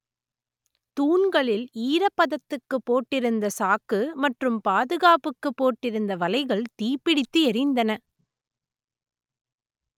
தூண்களில் ஈரப்பதத்துக்கு போட்டு இருந்த சாக்கு மற்றும் பாதுகாப்புக்கு போட்டு இருந்த வலைகள் தீப்பிடித்து எரிந்தன